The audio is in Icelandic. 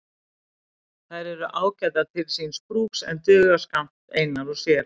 Þær eru ágætar til síns brúks en duga skammt einar og sér.